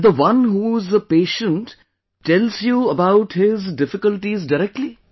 And the one who is a patient tells you about his difficulties directly